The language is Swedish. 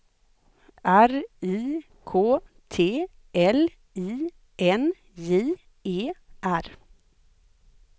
R I K T L I N J E R